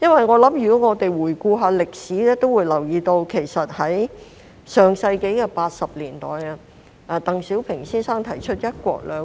我們回顧歷史會留意到在上世紀80年代，鄧小平先生提出了"一國兩制"。